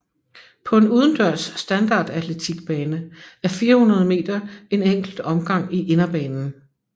På en udendørs standardatletikbane er 400 meter en enkelt omgang i inderbanen